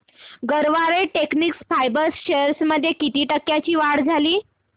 Garware technical fibres shares मध्ये किती टक्क्यांची वाढ झाली